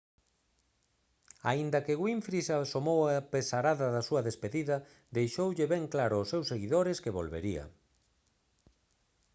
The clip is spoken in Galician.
aínda que winfrey se amosou apesarada na súa despedida deixoulle ben claro aos seus seguidores que volvería